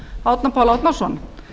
árna pál árnason